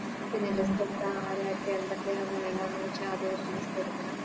പിന്നെ എന്തൊക്കെയാ ആരാർക്ക എന്തൊക്കെയാ വേണ്ടെന്ന് വെച്ച അതോര് List എടുക്കണം